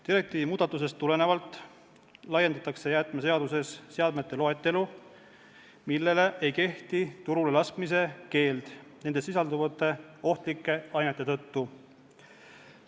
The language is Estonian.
Direktiivi muudatusest tulenevalt laiendatakse jäätmeseaduses seadmete loetelu, millele ei kehti turule laskmise keeld nendes sisalduvate ohtlike ainete tõttu.